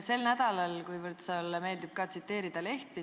Sulle meeldib tsiteerida lehti.